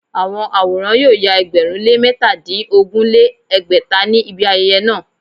Àwọn àwòrán yóò ya ẹgbẹ̀rún lé métadínogún lé ní ẹgbẹ́ta ní ibi ayẹyẹ náà